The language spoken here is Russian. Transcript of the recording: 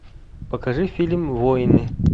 покажи фильм воины